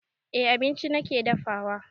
Eh abinci nake dafawa